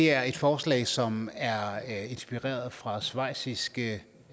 er et forslag som er inspireret fra schweiziske